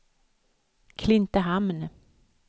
Klintehamn